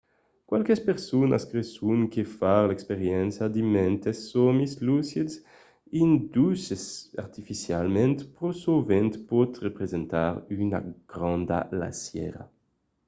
qualques personas creson que far l'experiéncia de mantes sòmis lucids induches artificialament pro sovent pòt representar una granda lassièra